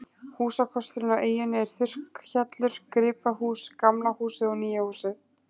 Húsakosturinn á eyjunni er þurrkhjallur, gripahús, gamla húsið og nýja húsið.